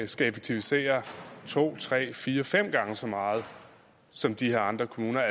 skal effektivisere to tre fire fem gange så meget som de andre kommuner